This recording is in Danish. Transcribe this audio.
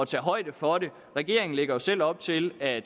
tage højde for det regeringen lægger jo selv op til at